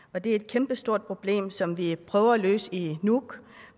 og det er et kæmpestort problem som vi prøver at løse i nuuk